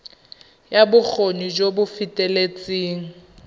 ya bokgoni jo bo feteletseng